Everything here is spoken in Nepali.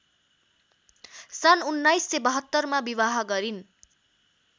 सन् १९७२मा विवाह गरिन्।